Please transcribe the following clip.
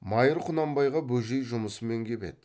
майыр құнанбайға бөжей жұмысымен кеп еді